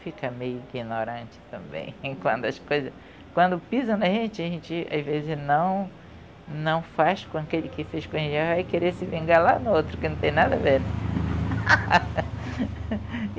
Fica meio ignorante também, quando as coisas... Quando pisa na gente, a gente, às vezes, não não faz com aquele que fez com, vai querer se vingar lá no outro, que não tem nada a ver.